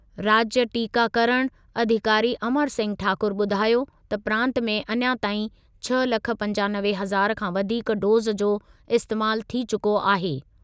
राज्य टीकाकरण अधिकारी अमर सिंह ठाकुर ॿुधायो त प्रांत में अञा ताईं छह लख पंजानवे हज़ार खां वधीक डोज़ जो इस्तेमालु थी चुको आहे।